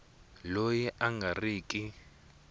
loyi a nga ri ki